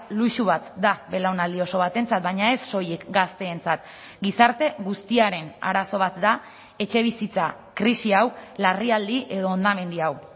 luxu bat da belaunaldi oso batentzat baina ez soilik gazteentzat gizarte guztiaren arazo bat da etxebizitza krisi hau larrialdi edo hondamendi hau